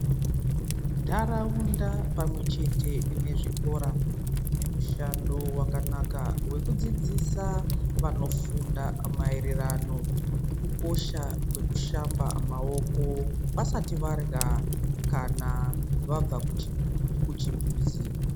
Ntaraunda pamwe chete nezvikora, zvine mushando wakanaka wekudzidzisa vanofunda maererano, nekukosha kwekushamba maoko vasati varya kana vabva kuchi kuchimbuzi.